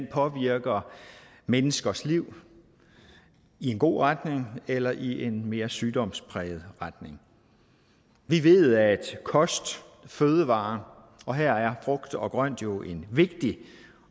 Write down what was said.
påvirker menneskers liv i en god retning eller i en mere sygdomspræget retning vi ved at kost fødevarer og her er frugt og grønt jo en vigtig